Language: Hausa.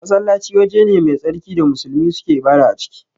Masallaci waje ne mai tsarki da musulmi suke ibada a ciki